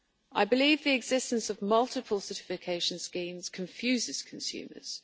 I believe the existence of multiple certification schemes confuses consumers.